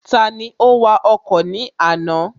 Tani ó wa ọkọ̀ ní àná?